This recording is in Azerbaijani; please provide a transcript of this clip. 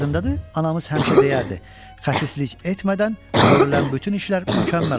Yadındadır, anamız həmişə deyərdi, xəsislik etmədən görülən bütün işlər mükəmməl olur.